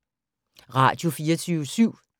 Radio24syv